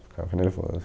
Ficava nervoso.